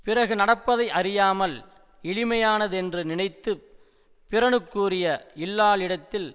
பிறகு நடப்பதை அறியாமல் எளிமையானதென்று நினைத்து பிறனுக்குரிய இல்லாளிடத்தில்